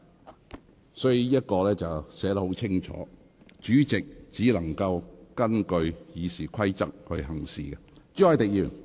"條文已清楚訂明有關規則，主席須根據《議事規則》行事。